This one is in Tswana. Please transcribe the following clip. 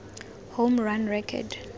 home run record